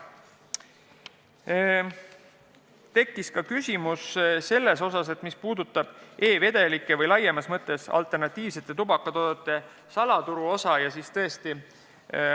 Esitati ka küsimus, mis puudutas e-vedelike või laiemas mõttes alternatiivsete tubakatoodete salaturu osakaalu.